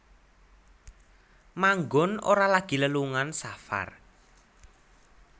Manggon Ora lagi lelungan safar